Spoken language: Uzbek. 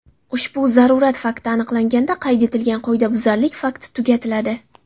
Ushbu zarurat fakti aniqlanganda, qayd etilgan qoidabuzarlik fakti tugatiladi.